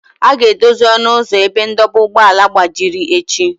A ga-edozi ọnụ ụzọ ebe ndọba ụgbọala gbajiri echi